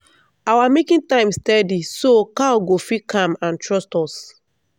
our milking time steady so cow go feel calm and trust us.